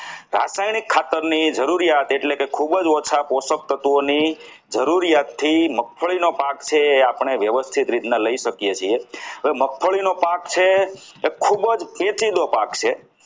રાસાયણિક ખાતર ની જરૂરિયાત એટલે કે ખૂબ જ ઓછા પોષક તત્વોની જરૂરિયાતથી મગફળીનો પાક જે છે એ આપણે વ્યવસ્થિત રીતના લઈ શકીએ છીએ હવે મગફળીનો પાક છે એ ખૂબ જ પેચીજો પાક છે.